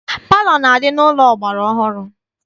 Palọ na-adị n'ụlọ ọgbara ọhụrụ.